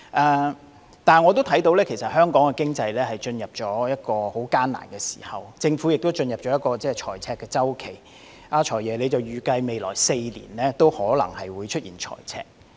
然而，我知道香港經濟進入了一個艱難時期，政府亦進入了財赤周期，"財爺"預計未來4年也可能出現財赤。